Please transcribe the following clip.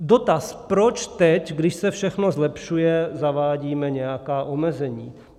Dotaz: Proč teď, když se všechno zlepšuje, zavádíme nějaká omezení?